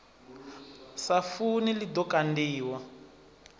sa funi ḽi ḓo kandiwa